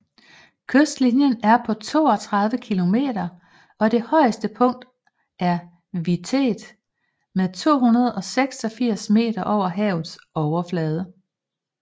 Kystlinjen er på 32 km og det højeste punkt er Vitet med 286 meter over havets overflade